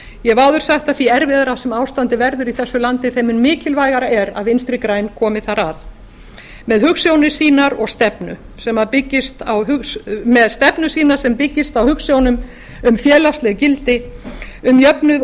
ég hef áður sagt að því erfiðara sem ástandið verður í þessu landi þeim mun mikilvægara er að vinstri græn komi þar að með stefnu sína sem byggist á hugsjónum um félagsleg gildi um jöfnuð